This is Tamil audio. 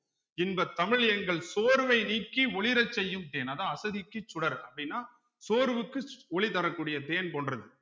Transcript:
இன்பத் தமிழ் எங்கள் சோர்வை நீக்கி ஒளிரச் செய்யும் தேன் அதான் அசதிக்கு சுடர் அப்படின்னா சோர்வுக்கு ஒளி தரக்கூடிய தேன் போன்றது